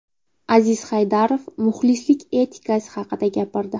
Aziz Haydarov muxlislik etikasi haqida gapirdi.